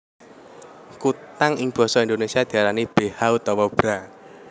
Kutang ing basa Indonesia diarani beha utawa bra